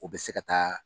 U bɛ se ka taa